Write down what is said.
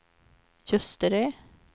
Ljusterö